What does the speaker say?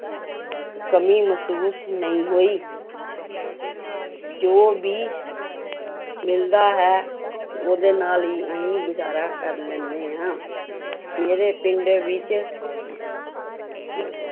ਕਮੀ ਮਹਿਸੂਸ ਨਹੀਂ ਹੋਈ ਜੋ ਵੀ ਮਿਲਦਾ ਹੈ ਉਹਦੇ ਨਾਲ ਹੀ ਅਸੀਂ ਗੁਜ਼ਾਰਾ ਕਰ ਲੈਂਦੇ ਹਾਂ, ਮੇਰੇ ਪਿੰਡ ਵਿੱਚ ਇੱ~